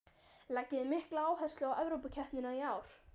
Leggið þið mikla áherslu á Evrópukeppnina í ár?